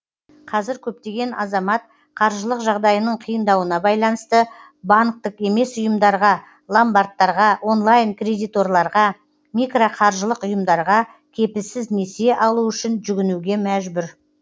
қазір көптеген азамат қаржылық жағдайының қиындауына байланысты банктік емес ұйымдарға ломбардтарға онлайн кредиторларға микроқаржылық ұйымдарға кепілсіз несие алу үшін жүгінуге мәжбүр